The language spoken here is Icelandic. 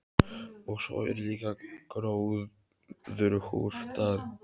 Og svo er líka gróðurhús þar.